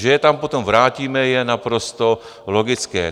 Že je tam potom vrátíme, je naprosto logické.